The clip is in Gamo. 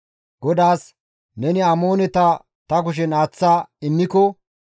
GODAAS, «Neni Amooneta ta kushen aaththa immiko,